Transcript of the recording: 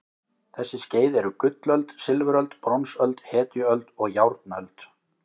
Þessi skeið eru gullöld, silfuröld, bronsöld, hetjuöld og járnöld.